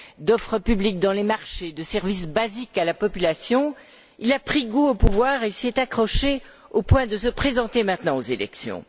d'offres publiques dans les marchés, de services basiques à la population il a pris goût au pouvoir et il s'y est accroché au point de se présenter maintenant aux élections.